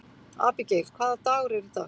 Abigael, hvaða dagur er í dag?